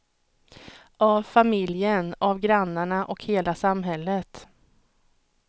Av familjen, av grannarna och hela samhället.